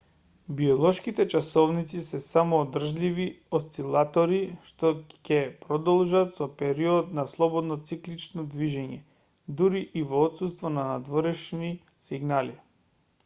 биолошките часовници се самоодржливи осцилатори што ќе продолжат со период на слободно циклично движење дури и во отсуство на надворешни сигнали